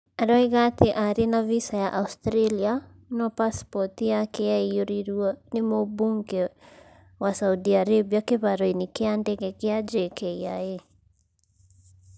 Aroiga atĩ arĩ na visa ya Australia, no pasipoti yake yaiyũrirũo nĩ mũbunge wa Saudi Arabia kĩharo-inĩ kĩa ndege gĩa JKIA".